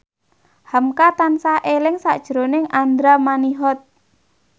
hamka tansah eling sakjroning Andra Manihot